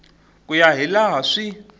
ku ya hi laha swi